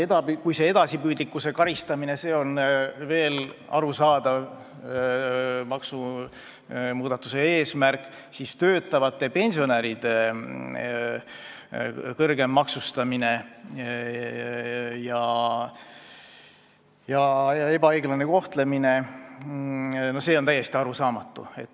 Kui see edasipüüdlikkuse karistamine on veel arusaadav maksumuudatuse eesmärk, siis töötavate pensionäride kõrgem maksustamine ja ebaõiglane kohtlemine on täiesti arusaamatu.